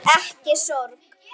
Ekki sorg.